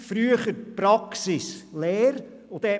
Früher waren es Mischprofile aus Praxis und Lehre.